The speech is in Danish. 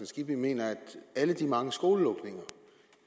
skibby mener at alle de mange skolelukninger